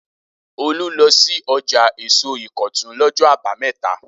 Olú lọ sí ọjà èso Ìkọ̀tún lọ́jọ́ àbámẹ́ta?